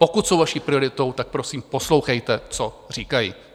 Pokud jsou vaší prioritou, tak prosím poslouchejte, co říkají.